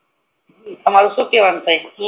તમારું શું કેવાનું થય છે